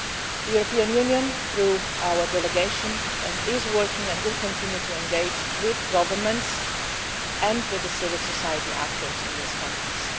The European Union, through our delegation, is working and will continue to engage with governments and with the civil society actors in these countries.